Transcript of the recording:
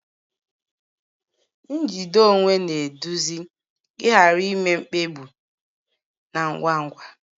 Njide onwe na-eduzi ịghara ime mkpebi na ngwa ngwa